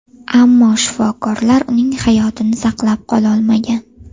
Ammo shifokorlar uning hayotini saqlab qololmagan.